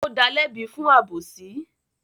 Ó dalẹ́bi fún àbósí.